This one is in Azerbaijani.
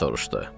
Deyə soruşdu.